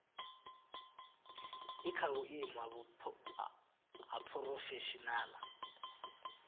i kha vhuimo ha phurofeshinala